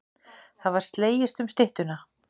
Það var slegist um styttuna.